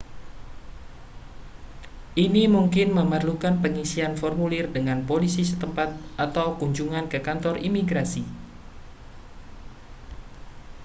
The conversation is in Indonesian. ini mungkin memerlukan pengisian formulir dengan polisi setempat atau kunjungan ke kantor imigrasi